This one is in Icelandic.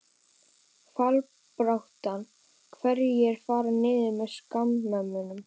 Fallbaráttan- Hverjir fara niður með Skagamönnum?